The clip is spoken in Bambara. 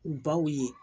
U baw ye